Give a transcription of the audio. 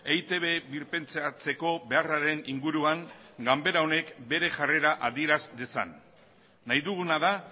eitb birpentsatzeko beharraren inguruan ganbera honek bere jarrera adieraz dezan nahi duguna da